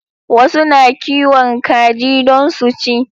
Wasu na kiwon kaji don su ci